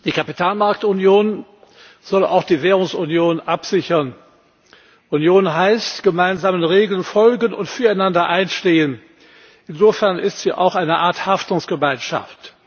Herr Präsident! Die Kapitalmarktunion soll auch die Währungsunion absichern. Union heißt, gemeinsamen Regeln folgen und füreinander einstehen. Insofern ist sie auch eine Art Haftungsgemeinschaft.